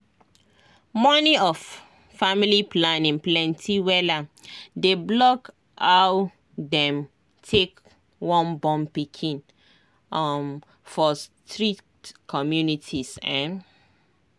money of family planning plenty wella dey block aw dem take wun born pikin um for strict communities ehn